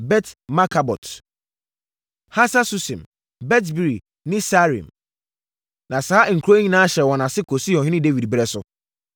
Bet-Markabot, Hasar-Susim, Bet-Biri ne Saaraim. Na saa nkuro yi nyinaa hyɛɛ wɔn ase kɔsii ɔhene Dawid berɛ so.